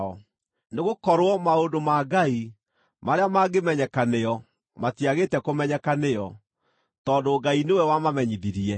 nĩgũkorwo maũndũ ma Ngai marĩa mangĩmenyeka nĩo matiagĩte kũmenyeka nĩo, tondũ Ngai nĩwe wamamenyithirie.